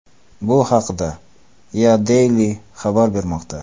Bu haqda EADaily xabar bermoqda .